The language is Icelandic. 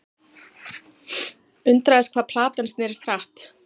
Undraðist hvað platan snerist hratt.